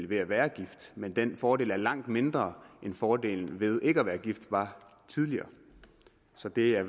ved at være gift men den fordel er langt mindre end fordelen ved ikke at være gift var tidligere så det er